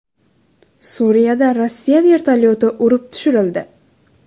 Suriyada Rossiya vertolyoti urib tushirildi .